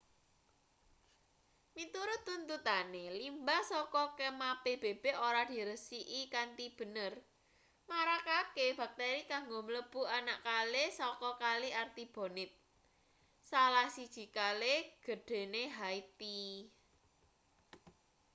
miturut tuntutane limbah saka kemah pbb ora diresiki kanthi bener marakake bakteri kanggo mlebu anak kali saka kali artibonite salah siji kale gedhene haiti